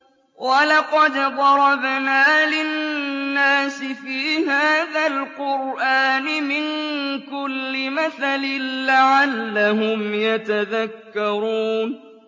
وَلَقَدْ ضَرَبْنَا لِلنَّاسِ فِي هَٰذَا الْقُرْآنِ مِن كُلِّ مَثَلٍ لَّعَلَّهُمْ يَتَذَكَّرُونَ